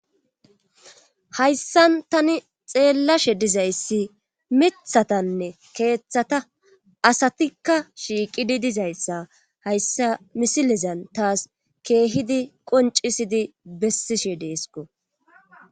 hayssan tani xeellashe dizayssi mithatanne keeththata asatikka shiiqidi dizayssa hayssa misilezan taas keehidi qoncisidi bessishe deesko